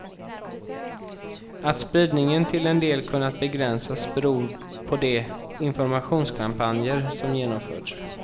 Att spridningen till en del kunnat begränsas beror på de informationskampanjer som genomförts.